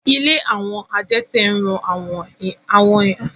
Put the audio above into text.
Ilé àwọn adẹ́tẹ̀ ń ran àwọn èèyàn tó dẹ́tẹ̀ lọ́wọ́